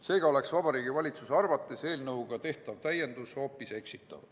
Seega on Vabariigi Valitsuse arvates eelnõuga tehtav täiendus hoopis eksitav.